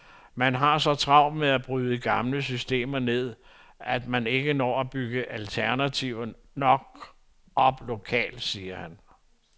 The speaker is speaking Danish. Men man har så travlt med at bryde gamle systemer ned, at man ikke når at bygge alternativer nok op lokalt, siger han.